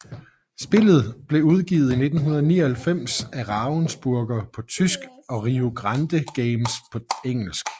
Spillet blev udgivet i 1999 af Ravensburger på tysk og Rio Grande Games på engelsk